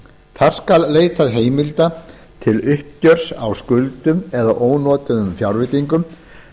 þar skal leitað heimilda til uppgjörs á skuldum eða ónotuðum fjárveitingum